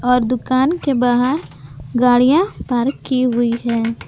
और दुकान के बाहर गाड़ियां पार्क की हुई हैं।